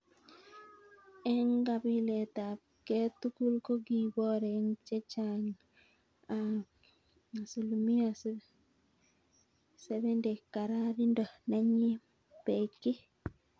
Engkapilet ab ke tugul kokibor eng chechang ab 70% kararindo nenyin Beki.